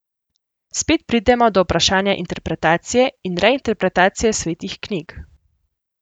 Spet pridemo do vprašanja interpretacije in reinterpretacije svetih knjig.